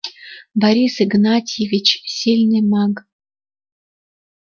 борис игнатьевич сильный маг